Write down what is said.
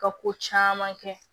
Ka ko caman kɛ